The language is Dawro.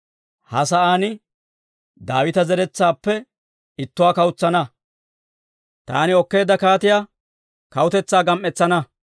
«Ha sa'aan, Daawita zeretsaappe ittuwaa kawutsana; taani okkeedda kaatiyaa kawutetsaa gam"etsana.